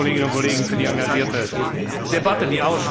Vielen Dank, liebe Kolleginnen und Kollegen, für die engagierte Debatte.